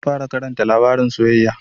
Zan fara Karanta labarin soyayya.